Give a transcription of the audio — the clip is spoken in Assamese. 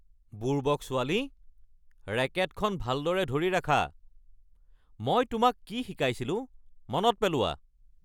বুৰ্বক ছোৱালী। ৰেকেটখন ভালদৰে ধৰি ৰাখা। মই তোমাক কি শিকাইছিলো মনত পেলোৱা।